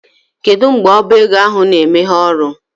Kedụ mgbe ọbá égo ahụ na emeghe ọrụ?